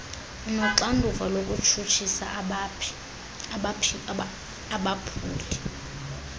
unoxanduva lokutshutshisa abaphuli